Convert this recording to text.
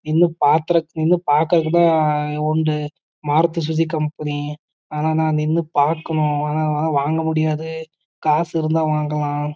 நின்னு பார்க்க தான் உண்டு மாருதி சுசூகி கம்பெனிஆனா நான் நின்னு பாக்கணும்ஆனா என்னால வாங்க முடியாதே காசு இருந்த வாங்கலாம்